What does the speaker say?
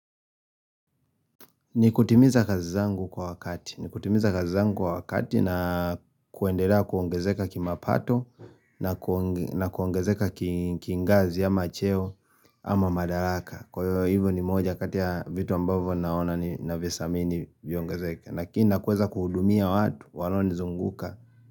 Nikutimiza kazi zangu kwa wakati. Nikutimiza kazi zangu kwa wakati na kuendelea kuongezeka kimapato na na kuongezeka kingazi ama cheo ama madaraka. Kwa hivyo, hivo ni moja kati ya vitu ambavyo naona na visamini viongezeke. Lakini na kuweza kuhudumia watu walionizunguka.